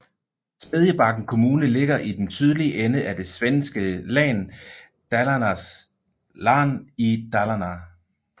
Smedjebacken kommune ligger i den sydlige ende af det svenske län Dalarnas län i Dalarna